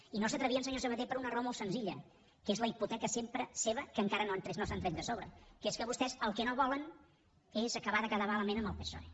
i no s’hi atrevien senyor sabaté per una raó molt senzilla que és la hipoteca sempre seva que encara no s’han tret de sobre que és que vostès el que no volen és acabar de quedar malament amb el psoe